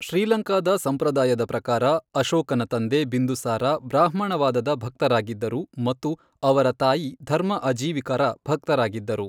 ಶ್ರೀಲಂಕಾದ ಸಂಪ್ರದಾಯದ ಪ್ರಕಾರ, ಅಶೋಕನ ತಂದೆ ಬಿಂದುಸಾರ ಬ್ರಾಹ್ಮಣವಾದದ ಭಕ್ತರಾಗಿದ್ದರು ಮತ್ತು ಅವರ ತಾಯಿ ಧರ್ಮ ಅಜೀವಿಕರ ಭಕ್ತರಾಗಿದ್ದರು.